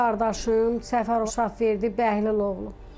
Qardaşım Səfərov Şahverdi Bəhli oğludur.